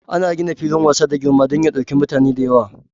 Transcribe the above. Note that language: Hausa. Ana gina filin wasa da girma dan ya ɗauki mutane da yawa.